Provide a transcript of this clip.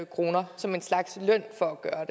kroner som en slags løn for at gøre